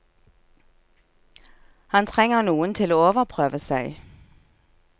Han trenger noen til å overprøve seg.